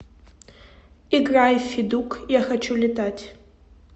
играй федук я хочу летать